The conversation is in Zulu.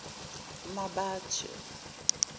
mmabatho